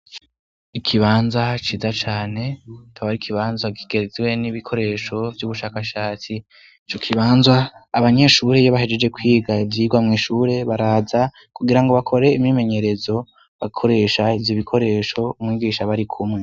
Ikibanza ciza cane tabari ikibanza kigezwe n'ibikoresho vy'ubushakashatsi ico kibanza abanyeshure yo bahejeje kwiga ivyirwa mw'ishure baraza kugira ngo bakore imimenyerezo bakoresha ivy' ibikoresho umwigisha bari kumwe.